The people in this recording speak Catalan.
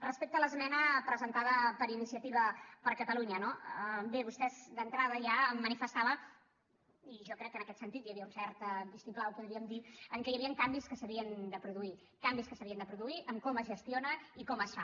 respecte a l’esmena presentada per iniciativa per catalunya no bé vostè d’entrada ja manifestava i jo crec que en aquest sentit hi havia un cert vistiplau podríem dir que hi havien canvis que s’havien de produir canvis que s’havien de produir en com es gestiona i com es fa